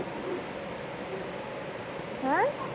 হা?